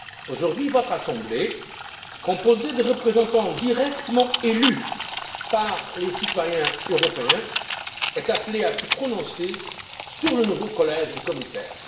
Aujourd'hui, votre assemblée, composée de représentants directement élus par les citoyens européens, est appelée à se prononcer sur le nouveau collège de commissaires.